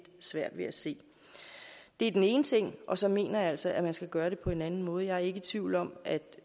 svært at ved at se det er den ene ting og så mener jeg altså at man skal gøre det på en anden måde jeg er ikke i tvivl om at